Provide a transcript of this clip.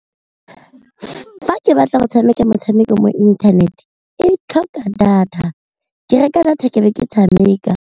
Fa ke batla go tshameka motshameko mo internet e tlhoka data, ke reka data ke be ke tshameka.